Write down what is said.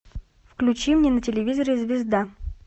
включи мне на телевизоре звезда